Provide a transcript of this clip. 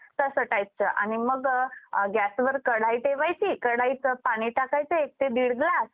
तसं टाईपचं आणि मग अ gas वर कढाई ठेवायची कढाईत पाणी टाकायचे एक ते दिढ ग्लास